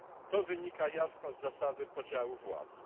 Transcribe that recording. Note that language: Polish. To wynika jasno z zasady podziału władz.